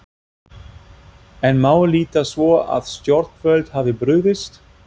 En má líta svo á að stjórnvöld hafi brugðist?